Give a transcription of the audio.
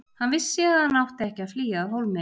Hann vissi að hann átti ekki að flýja af hólmi.